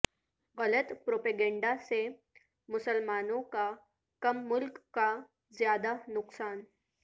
غلط پروپیگنڈسے مسلمانوں کا کم ملک کا زیادہ نقصان